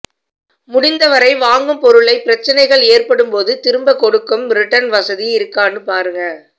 முடிந்த வரை வாங்கும் பொருளை பிரச்சனைகள் ஏற்படும் போது திரும்ப கொடுக்கும் ரிட்டர்ன் வசதி இருக்கானு பாருங்க